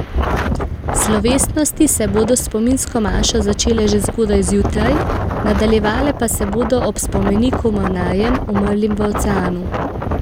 Slovesnosti se bodo s spominsko mašo začele že zgodaj zjutraj, nadaljevale pa se bodo ob spomeniku mornarjem, umrlim v oceanu.